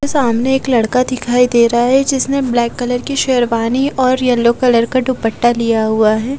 मेरे सामने एक लड़का दिखाई दे रहा है जिसने ब्लैक कलर की शेरवानी और येलो कलर का दुपट्टा लिया हुआ है।